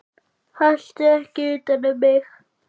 Haltu ekki utan um mig.